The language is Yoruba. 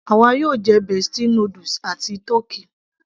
àwa yóò jẹ bestie noodles àti tọ́kì